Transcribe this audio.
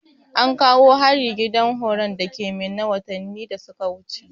Ankawo hari gidan horon dake minna watanni da suka wuce